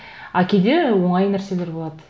а кейде оңай нәрселер болады